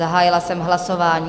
Zahájila jsem hlasování.